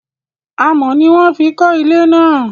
Amọ̀ ni wọ́n fi kọ́ ilé náà